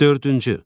Dördüncü.